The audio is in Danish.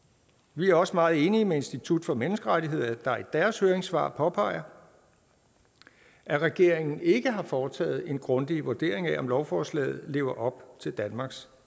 vi er også meget enige med institut for menneskerettigheder der i deres høringssvar påpeger at regeringen ikke har foretaget en grundig vurdering af om lovforslaget lever op til danmarks